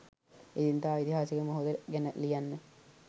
එදිනෙදා ඓතිහාසික මොහොත ගැන ලියන්න.